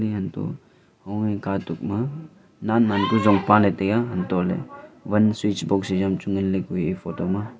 antoh hoa nen nen pe jong pale tai a antoh ley van switchbox he a am chu ngan ley ku a iya photo ma.